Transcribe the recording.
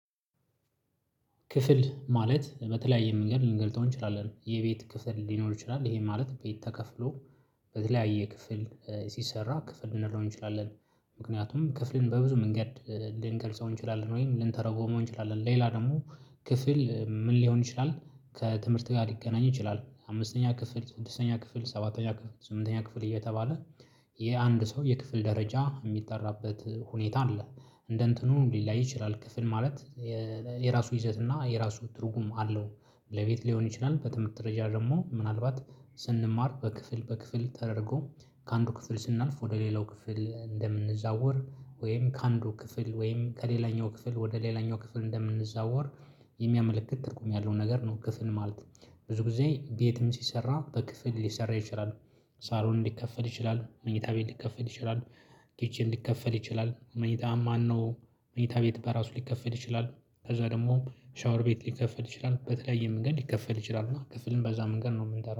ክፍል ማለት በተለያየ መንገድ ልንገልጸው እንችላለን። የቤት ክፍል ሊኖር ይችላል። ይሄ ማለት ቤት ተከፍሎ በተለያየ ክፍል ሲሰራ ክፍል ልንለው እንችላለን። ምክንያቱም ክፍልን በብዙ መንገድ ልንገልጸው እንችላለን ወይም ልንተረጉመው እንችላለን። ሌላ ደግሞ ክፍል ምን ሊሆን ይችላል ከትምህርት ጋር ሊገናኝ ይችላል። አምስተኛ ክፍል፣ ስድስተኛ ክፍል፣ ሰባተኛ ክፍል፣ ስምንተኛ ክፍል እየተባለ የአንድ ሰው የክፍል ደረጃ የሚጠራበት ሁኔታ አለ። እንደ እንትኑ ሊለያይ ይችላል። ክፍል ማለት የራሱ ይዘት እና የራሱ ትርጉም አለው። ለቤት ሊሆን ይችላል። በትምህርት ደረጃ ደግሞ ምናልባት ስንማር በክፍል በክፍል ተደርጎ፤ ከአንዱ ክፍል ስናልፍ ወደ ሌላው ክፍል እንደምንዛወር ወይም ከአንዱ ክፍል ወይም ከሌላኛው ክፍል ወደ ሌላኛው ክፍል እንደምንዛወር፤ የሚያመለክት ትርጉም ያለው ነገር ነው ክፍል ማለት። ብዙ ጊዜ ቤትም ሲሰራ በክፍል ሊሰራ ይችላል። ሳሎን ሊከፈል ይችላል፣ መኝታ ቤት ሊከፈል ይችላል፣ ኪችን ሊከፈል ይችላል፣ መኝታ ማነው መኝታ ቤት በራሱ ሊከፈል ይችላል ከዛ ደግሞ ሻወር ቤት ሊከፈል ይችላል በተለያየ መንገድ ሊከፈል ይችላል እና ክፍልን በዛ መንገድ ነው የምንጠራው።